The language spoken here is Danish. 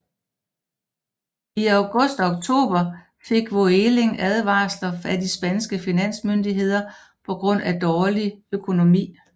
I august og oktober fik Vueling advarsler af de spanske finansmyndigheder på grund af dårlig økonomi